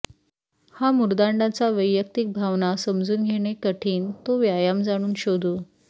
हा मुर्दाडांचा वैयक्तिक भावना समजून घेणे कठीण तो व्यायाम जाणून शोधू